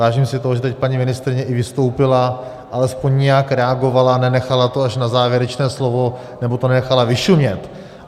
Vážím si toho, že teď paní ministryně i vystoupila, alespoň nějak reagovala, nenechala to až na závěrečné slovo nebo to nenechala vyšumět.